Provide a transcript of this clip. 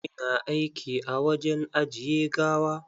Ina aiki a wajen ajiye gawa.